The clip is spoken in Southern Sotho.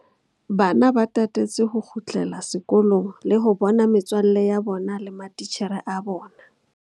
Bana ba tatetse ho kgutlela sekolong le ho bona metswalle ya bona le matitjhere a bona.